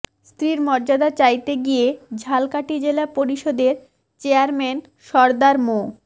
স্ত্রীর মর্যাদা চাইতে গিয়ে ঝালকাঠি জেলা পরিষদের চেয়ারম্যান সরদার মো